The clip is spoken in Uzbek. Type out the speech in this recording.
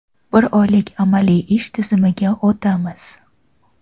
bir oylik amaliy ish tizimiga o‘tamiz.